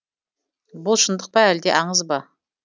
бұл шындық па әлде аңыз ба